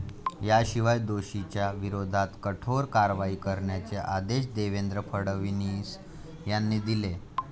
याशिवाय दोषींच्या विरोधात कठोर कारवाई करण्याचे आदेश देवेंद्र फडणवीस यांनी दिले.